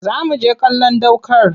Za mu je kallon ɗ aukar